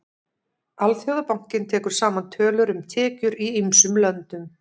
Alþjóðabankinn tekur saman tölur um tekjur í ýmsum löndum.